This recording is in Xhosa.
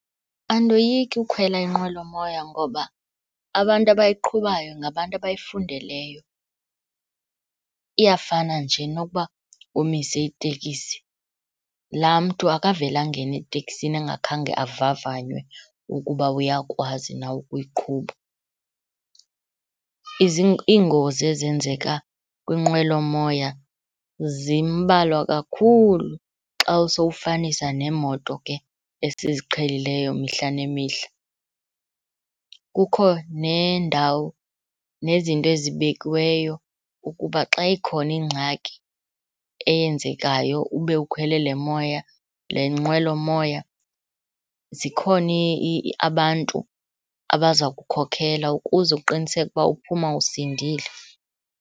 Andoyiki ukhwela inqwelomoya ngoba abantu abayiqhubayo ngabantu abayifundeleyo, iyafana nje nokuba umise itekisi. Laa mntu akavele angene eteksini angakhange avavanywe ukuba uyakwazi na ukuyiqhuba. Iingozi ezenzeka kwinqwelomoya zimbalwa kakhulu xa usowufanisa neemoto ke esiziqhelileyo mihla nemihla. Kukho nendawo, nezinto ezibekiweyo ukuba xa ikhona ingxaki eyenzekayo ube ukhwele le moya, le nqwelomoya, zikhona abantu abaza kukhokhela ukuze uqiniseke ukuba uphuma usindile.